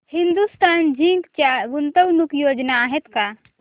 Hindustan Zinc च्या गुंतवणूक योजना आहेत का